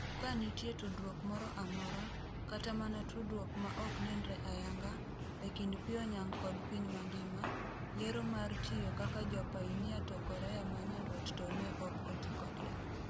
Ka nitie tudruok moro amora, kata mana tudruok ma ok nenre ayanga, e kind Pyonyang kod piny mangima, yiero mar tiyo kaka japainia to Korea ma Nyandwat to ne ok oti kodgi.